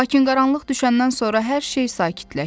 Lakin qaranlıq düşəndən sonra hər şey sakitləşdi.